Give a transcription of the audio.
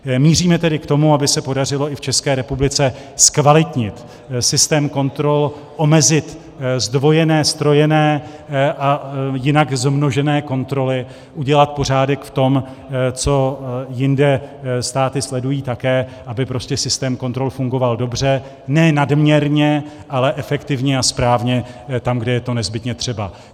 Míříme tedy k tomu, aby se podařilo i v České republice zkvalitnit systém kontrol, omezit zdvojené, ztrojené a jinak zmožené kontroly, udělat pořádek v tom, co jinde státy sledují také, aby prostě systém kontrol fungoval dobře, ne nadměrně, ale efektivně a správně tam, kde je to nezbytně třeba.